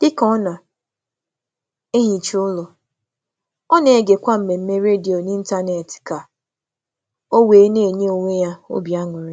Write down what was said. Ọ na-ehicha ụlọ ka ọ na-ege ihe omume olu ọ masịrị ya ka ọ na-enwe na-enwe ntụrụndụ.